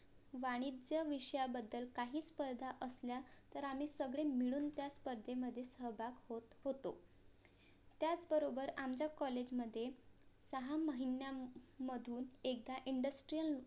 वाणिज्य विषयाबद्दल काही स्पर्धा असल्या तर आम्ही सगळे मिळून त्यास्पर्धेमध्ये सहभाग होत होतो त्याच बरोबर आमच्या COLLAGE मध्ये सहा महिन्यामधून एकदा INDUSTRIAL